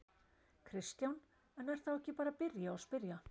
Kristján: En er þá ekki bara að byrja og spyrja?